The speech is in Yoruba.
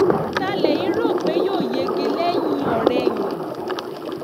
ta lẹ́yìn rò pé yóò yege lẹ́yìn-ọ̀-rẹyìn